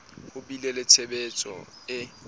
ho bile le tshehetso e